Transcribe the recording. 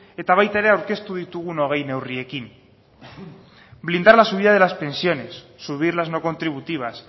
eta baita ere aurkeztu ditugun hogei neurriekin blindar la subida de las pensiones subir las no contributivas